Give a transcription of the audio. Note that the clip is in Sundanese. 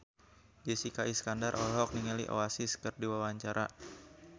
Jessica Iskandar olohok ningali Oasis keur diwawancara